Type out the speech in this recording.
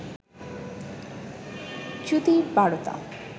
চ্যুতির বারতা